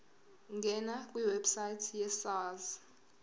ngena kwiwebsite yesars